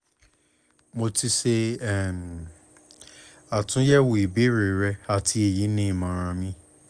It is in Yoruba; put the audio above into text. mo ti ṣe um atunyẹwo ibeere rẹ ati eyi ni imọran mi